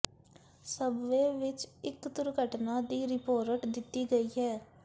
subway ਵਿੱਚ ਇੱਕ ਦੁਰਘਟਨਾ ਦੀ ਰਿਪੋਰਟ ਦਿੱਤੀ ਗਈ ਹੈ